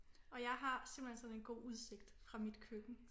Og jeg har simpelthen sådan en god udsigt fra mit køkken